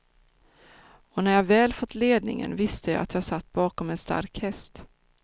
Och när jag väl fått ledningen visste jag att jag satt bakom en stark häst.